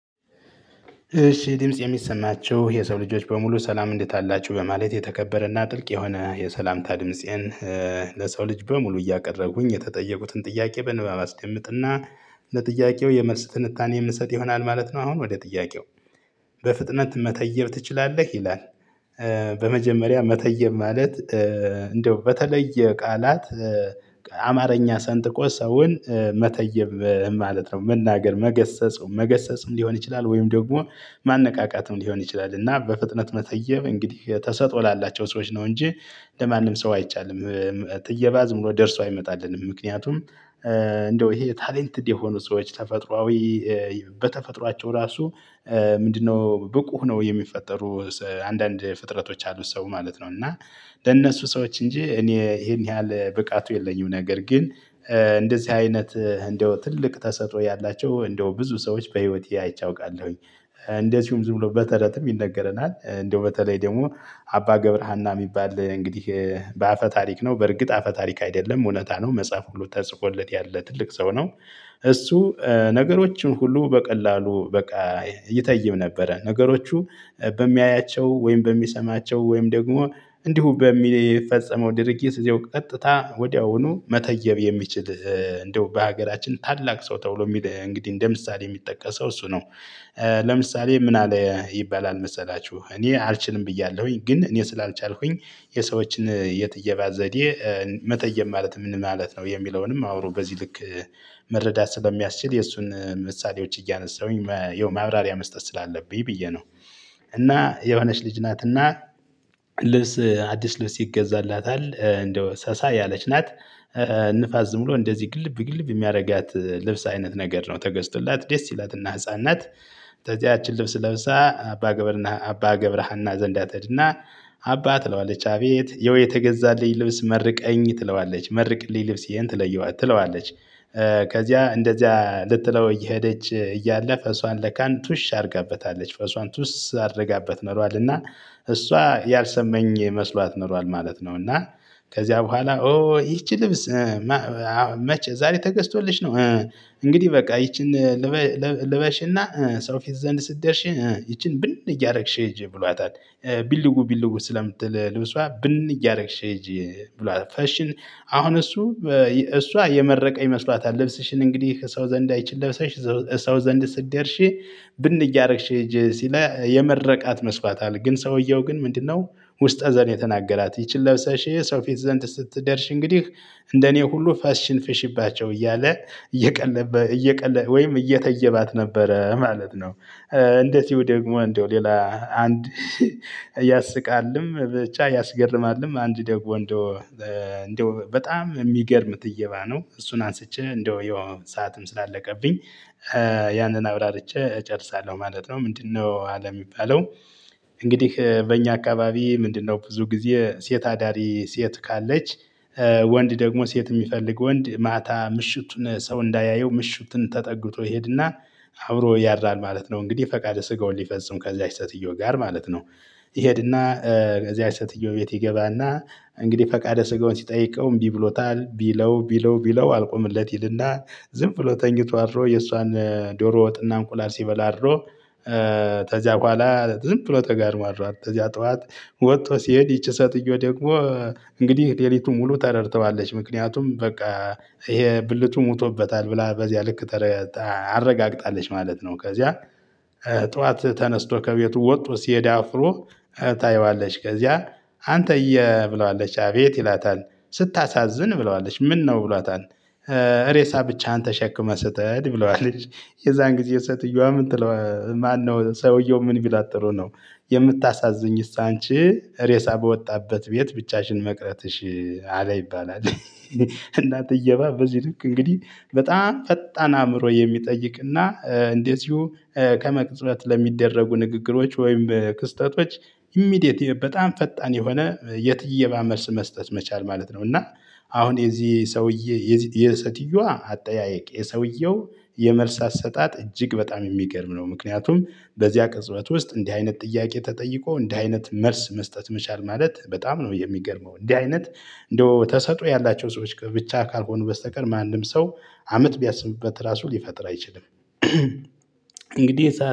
እሺ ድምፄ የሚሰማችሁ የሰው ልጆች በሙሉ ሰላም እንዴት አላቸው በማለት የተከበረና ጥልቅ የሆነ የሰላምታ ድምፄን ለሰው ልጅ በሙሉ እያቀረቡኝ የተጠየቁትን ጥያቄ በንባብ አስቀምጥና ለጥያቄው የመልስ ትንታኔ የምሰጥ ይሆናል ማለት ነው። አሁን ወደ ጥያቄው በፍጥነት መተየብ ትችላለህ ይላል? በመጀመሪያ መተየብ ማለት እንደው በተለየ ቃላት አማርኛ ሰንጥቆ ሰውን መተይብ ማለት ነው መናገር መገሰጽም መገሰጽም ሊሆን ይችላል ወይም ደግሞ ማነቃቃትም ሊሆን ይችላል። እና በፍጥነት መተየብ እንግዲህ ተሰጥኦ ላላቸው ሰዎች ነው እንጂ ለማንም ሰው አይቻልም። ትየባ ዝም ብሎ ደርሶ አይመጣልንም ምክንያቱም እንደው ይሄ ታለንትድ የሆኑ ሰዎች ተፈጥሮአዊ በተፈጥሯቸው ራሱ ምንድነው ብቁ ሁነው የሚፈጠሩ አንዳንድ ፍጥረቶች አሉ። ሰው ማለት ነው። እና ለእነሱ ሰዎች እንጂ እኔ ይሄን ያህል ብቃቱ የለኝም። ነገር ግን እንደዚህ አይነት እንደው ትልቅ ተሰጥኦ ያላቸው እንደው ብዙ ሰዎች በህይወቴ አይቼ አውቃለሁኝ። ዝም ብሎ በተረትም ይነገረናል እንደው በተለይ ደግሞ አባ ገብረሃና የሚባል እንግዲህ በአፈ ታሪክ ነው በርግጥ አፈ ታሪክ አይደለም እውነታ ነው መጽሐፍ ሁሉ ተጽፎለት ያለ ትልቅ ሰው ነው። እሱ ነገሮችን ሁሉ በቀላሉ በቃ ይተይብ ነበረ። ነገሮቹ በሚያያቸው ወይም በሚሰማቸው ወይም ደግሞ እንዲሁ በሚፈጸመው ድርጊት እዚያው ቀጥታ ወዲያውኑ መተየብ የሚችል እንደው በሀገራችን ታላቅ ሰው ተብሎ የሚል እንግዲህ እንደ ምሳሌ የሚጠቀሰው እሱ ነው። ለምሳሌ ምን አለ ይባላል መሰላችሁ እኔ አልችልም ብያለሁኝ ግን እኔ ስላልቻልኩኝ የሰዎችን የትየባ ዘዴ መተየብ ማለት ምን ማለት ነው? የሚለውንም አውሮ በዚህ ልክ መረዳት ስለሚያስችል የእሱን ምሳሌዎች እያነሳሁኝ የማብራሪያ መስጠት ስላለብኝ ብዬ ነው። እና የሆነች ልጅ ናትና ልብስ አዲስ ልብስ ይገዛላታል እንደው ሰሳ ያለች ናት። ንፋስ ዝም ብሎ እንደዚህ ግልብ ግልብ የሚያደርጋት ልብስ አይነት ነገር ነው ተገዝቶላት ደስ ይላትና ህፃን ናት። ከዚያችን ልብስ ለብሳ አባ ገብርና አባ ገብረሃና ዘንዳ ትሄድና አባ ትለዋለች አቤት ይሀው የተገዛልኝ ልብስ መርቀኝ ትለዋለች መርቅልኝ ልብሴን ትለየዋለች ትለዋለች። ከዚያ እንደዚያ ልትለው እየሄደች እያለ ፈሷን ለካንቱሽ አድርጋበታለች ፈሷን ቱስ አድርጋበት ኖሯል እና እሷ ያልሰማኝ መስሏት ኖሯል ማለት ነው። እና ከዚያ በኋላ ኦ ይቺ ልብስ መቼ ዛሬ ተገዝቶልሽ ነው? እንግዲህ በቃ ይቺን ልበሽና ሰው ፊት ዘንድ ስትደርሽ ይቺን ብን እያደረግሽ ሂጂ ብሏታል። ቢልው ቢልው ስለምትል ልብሷ ብን እያደረግሽ ሂጂ ብሏት ፈሽን አሁን እሱ እሷ የመረቀ ይመስሏታል ልብስሽን እንግዲህ ከሰው ዘንድ አይችል ለብሰሽ ሰው ዘንድ ስትደርሺ ብን እያደረግሽ ሂጂ ሲላት የመረቃት መስሏታል። ግን ሰውየው ግን ምንድነው? ውስጠ ዘንድ የተናገራት ይቺን ለብሰሽ ሰው ፊት ዘንድ ስትደርሽ እንግዲህ እንደኔ ሁሉ ፈስሽን ፍሽባቸው እያለ እየቀለበ እየቀለ ወይም እየተየባት ነበረ ማለት ነው። እንደዚሁ ደግሞ እንደው ሌላ አንድ ያስቃልም ብቻ ያስገርማልም አንድ ደግሞ እንደው በጣም የሚገርም ትየባ ነው። እሱን አንስቼ እንደው ይሄው ሰዓትም ስላለቀብኝ ያንን አብራርቼ እጨርሳለሁ ማለት ነው። ምንድነው አለ የሚባለው? እንግዲህ በእኛ አካባቢ ምንድነው ብዙ ጊዜ ሴት አዳሪ ሴት ካለች ወንድ ደግሞ ሴት የሚፈልግ ወንድ ማታ ምሽቱን ሰው እንዳያየው ምሽቱን ተጠግቶ ይሄድና አብሮ ያድራል ማለት ነው። እንግዲህ ፈቃደ ስጋውን ሊፈጽም ከዚያች ሴትየው ጋር ማለት ነው። ይሄድና ከዚያች ሴትየው ቤት ይገባና እንግዲህ ፈቃደ ስጋውን ሲጠይቀው እምቢ ብሎታል ቢለው ቢለው ቢለው አልቆምለት ይልና ዝም ብሎ ተኝቶ አድሮ የእሷን ዶሮ ወጥና እንቁላል ሲበላ አድሮ ከዚያ በኋላ ዝም ብሎ ተጋድሟል። ከዚያ ጠዋት ወጥቶ ሲሄድ ይቺ ሴትዮ ደግሞ እንግዲህ ሌሊቱን ሙሉ ተረድተዋለች ምክንያቱም በቃ ይሄ ብልቱ ሞቶበታል ብላ በዚያ ልክ አረጋግጣለች ማለት ነው። ከዚያ ጠዋት ተነስቶ ከቤቱ ወጥቶ ሲሄድ አፍሮ ታየዋለች። ከዚያ አንተየ ብለዋለች አቤት ይላታል? ስታሳዝን ብለዋለች ምነው ብሏታል? ሬሳ ብቻህን ተሸክመህ ስተሄድ ብለዋለች። የዛን ጊዜ ሴትየዋ ምነ ትለ ማነው ሰውየው ምን ቢላት ጥሩ ነው? የምታሳዝኚስ አንቺ ሬሳ በወጣበት ቤት ብቻሽን መቅረትሽ አለ ይባላል። እና ትየባ በዚህ ልክ እንግዲህ በጣም ፈጣን አእምሮ የሚጠይቅና እንደዚሁ ከመቅጽበት ለሚደረጉ ንግግሮች ወይም ክስተቶች ኢሚዲየት በጣም ፈጣን የሆነ የትየባ መልስ መስጠት መቻል ማለት ነው። እና አሁን የዚህ ሰውዬ የሴትየዋ አጠያየቅ የሰውየው የመልስ አሰጣጥ እጅግ በጣም የሚገርም ነው። ምክንያቱም በዚያ ቅጽበት ውስጥ እንዲህ አይነት ጥያቄ ተጠይቆ እንዲህ አይነት መልስ መስጠት መቻል ማለት በጣም ነው የሚገርመው። እንዲህ አይነት እንደው ተሰጥኦ ያላቸው ሰዎች ብቻ ካልሆኑ በስተቀር ማንም ሰው አመት ቢያስብበት ራሱ ሊፈጥር አይችልም። እንግዲህ ሰዓት